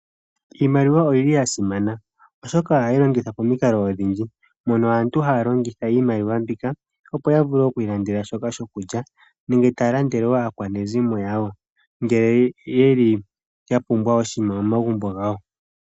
Iimaliwa oyili yasimana oshoka ohayilongithwa pamikalo odhindji. Mono aantu haalongitha iimaliwa mbika opo yavule okwiilandela shoka shokulya nenge taalandele woo aakwanezimo yawo ngele yeli yapumbwa oshiima momagumbo gawo.